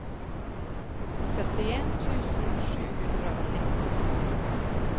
syttien tusen sju hundre og nitten